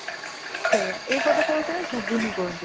ସେଇୟା ଏପଟେ ସେଟା ଘୁଗୁନି କୁହନ୍ତି |